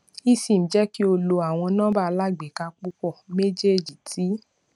esim jẹ ki o lo awọn nọmba alagbeka pupọ mejeeji ti